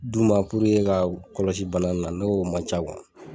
D'uma puruke ka u kɔlɔsi bana na ne y'o man ca wa